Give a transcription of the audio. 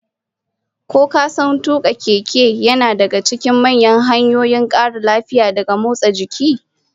Ko ka san tuka keke yana daga cikin manyan hanyoyin kara lafiya daga motsa jiki?